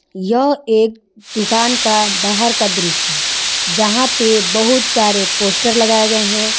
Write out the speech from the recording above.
यह एक दुकान का बाहर का दृश्य है जहां पे बहुत सारे पोस्टर लगाए गए हैं।